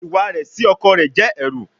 Iwa rẹ si ọkọ rẹ jẹ ẹru